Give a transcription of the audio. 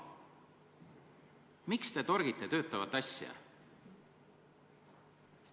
Miks te torgite töötavat asja?